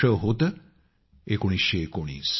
वर्ष होते 1919